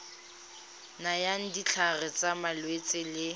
nayang ditlhare tsa malwetse le